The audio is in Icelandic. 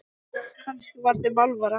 Kannski var þeim alvara.